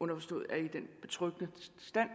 underforstået at de er i den betryggende stand